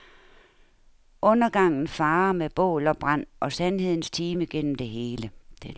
Undergangen farer med bål og brand og sandhedens time gennem det hele.